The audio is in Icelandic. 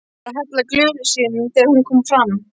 Hann var að hella í glösin þegar hún kom fram.